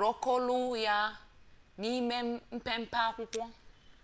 rọkụlọ ya n'ime mpempe akwụkwọ